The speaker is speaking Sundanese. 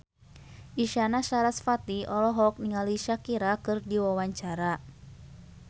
Isyana Sarasvati olohok ningali Shakira keur diwawancara